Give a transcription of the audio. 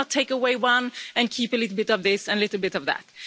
You cannot take away one and keep a little bit of this and a little bit of that'.